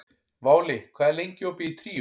Váli, hvað er lengi opið í Tríó?